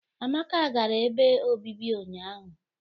Amaka gara ebe obibi ụnyahụ